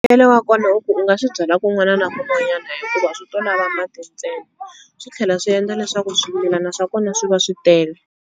Mbuyelo wa kona i ku u nga swi byala kun'wana na kun'wanyana hikuva swi to lava mati ntsena, swi tlhela swi endla leswaku swimilana swa kona swi va swi tele.